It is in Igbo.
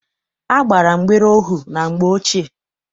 A gbara mgbere ohu na mgbe ochie.